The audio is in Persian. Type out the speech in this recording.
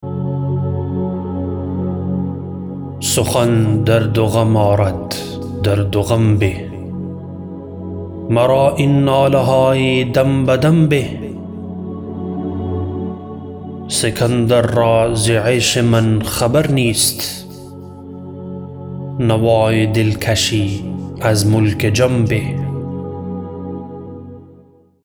سخن درد و غم آرد درد و غم به مرا این ناله های دمبدم به سکندر را ز عیش من خبر نیست نوای دلکشی از ملک جم به